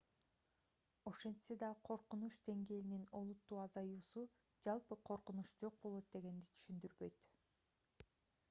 ошентсе да коркунуч деңгээлинин олуттуу азаюусу жалпы коркунуч жок болот дегенди түшүндүрбөйт